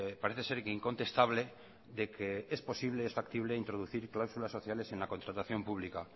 parece ser que incontestable de que es factible introducir cláusulas sociales en la contratación pública